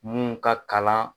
Min ka kalan